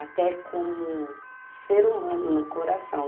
até como ser humano no coração.